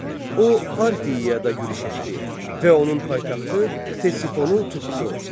O Parfiyaya yürüş etdi və onun paytaxtı Ktesifonu tutdu.